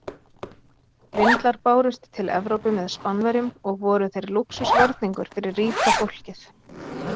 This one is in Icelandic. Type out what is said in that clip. Vindlar bárust til Evrópu með Spánverjum og voru þeir lúxusvarningur fyrir ríka fólkið.